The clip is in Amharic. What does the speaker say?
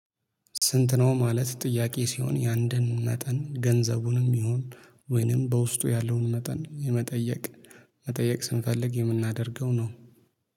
ስንት ነው? ማለት ጥያቄ ሲሆን የአንድን መጠን ገንዘቡንም ይሁን ወይንም በውስጡ ያለውን መጠን የመጠየቅ መጠየቅ ስፈልግ የምናደርገው ነው